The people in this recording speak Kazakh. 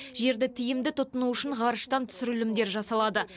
жерді тиімді тұтыну үшін ғарыштан түсірілімдер жасалады